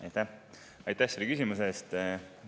Aitäh selle küsimuse eest!